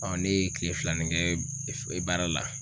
ne ye kile filanin kɛ baara la